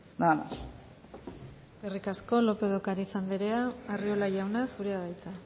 nada más eskerrik asko lópez de ocariz anderea arriola jauna zurea da hitza